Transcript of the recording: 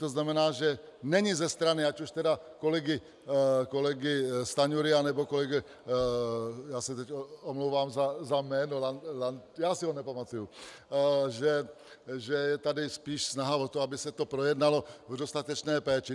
To znamená, že není ze strany ať už tedy kolegy Stanjury, anebo kolegy - já se teď omlouvám za jméno, já si ho nepamatuji - že je tady spíš snaha o to, aby se to projednalo v dostatečné péči.